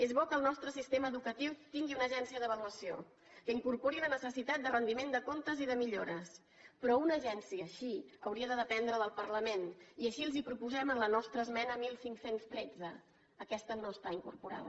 és bo que el nostre sistema educatiu tingui una agència d’a valuació que incorpori la necessitat de rendiment de comptes i de millores però una agència així hauria de dependre del parlament i així els ho proposem a la nostra esmena quinze deu tres aquesta no està incorporada